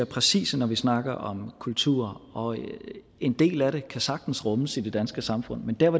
præcise når vi snakker om kulturer og en del af det kan sagtens rummes i det danske samfund men der hvor